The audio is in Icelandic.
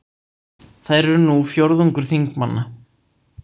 Þær eru nú fjórðungur þingmanna